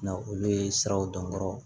Na olu ye siraw dɔn kɔrɔ